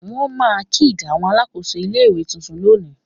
Won ma kids Awon Alakoso ile-iwe tuntun loni